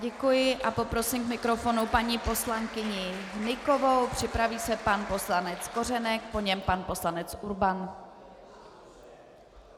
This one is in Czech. Děkuji a poprosím k mikrofonu paní poslankyni Hnykovou, připraví se pan poslanec Kořenek, po něm pan poslanec Urban.